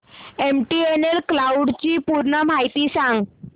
MTNL cloud ची पूर्ण माहिती सांग